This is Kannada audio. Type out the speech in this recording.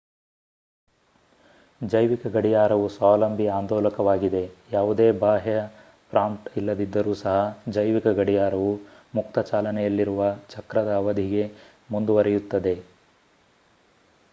ಜೈವಿಕ ಗಡಿಯಾರವು ಸ್ವಾವಲಂಬಿ ಆಂದೋಲಕವಾಗಿದೆ ಯಾವುದೇ ಬಾಹ್ಯ ಪ್ರಾಂಪ್ಟ್ ಇಲ್ಲದಿದ್ದರೂ ಸಹ ಜೈವಿಕ ಗಡಿಯಾರವು ಮುಕ್ತ ಚಾಲನೆಯಲ್ಲಿರುವ ಚಕ್ರದ ಅವಧಿಗೆ ಮುಂದುವರಿಯುತ್ತದೆ